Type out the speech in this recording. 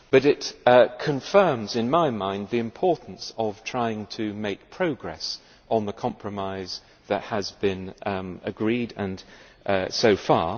It confirms in my mind the importance of trying to make progress on the compromise that has been agreed so far.